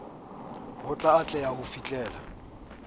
ho a atleha ho fihlella